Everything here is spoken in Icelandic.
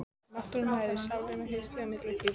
Náttúran nærir sálina Haustið er milt og hlýtt.